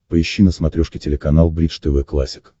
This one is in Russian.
поищи на смотрешке телеканал бридж тв классик